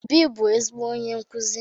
Obi bu ezigbo onye nkuzi